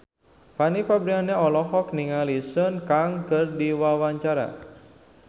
Fanny Fabriana olohok ningali Sun Kang keur diwawancara